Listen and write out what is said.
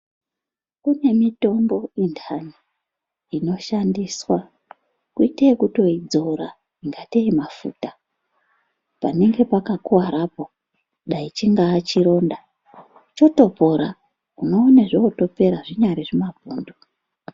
Kune mitombo intani inoshandiswa kuite yekutoidzora ingatei mafuta panenge pakakuvarapo, dai chingaa chironda, chotopora unoona zvootopora, zvinyari zvimapundu.